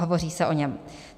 Hovoří se o něm.